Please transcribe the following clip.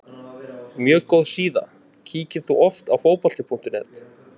mjög góð síða Kíkir þú oft á Fótbolti.net?